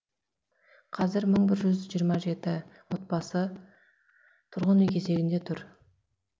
қазір мың бір жүз жиырма жеті отбасы тұрғын үй кезегінде тұр